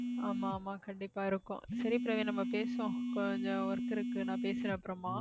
ஆமா ஆமா கண்டிப்பா இருக்கும் சரி பிரவீன் நம்ம பேசுவோம் கொஞ்சம் work இருக்கு நான் பேசுறேன் அப்புறமா